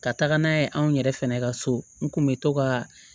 Ka taga n'a ye anw yɛrɛ fɛnɛ ka so n kun be to ka